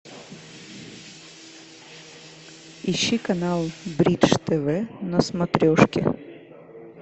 ищи канал бридж тв на смотрешке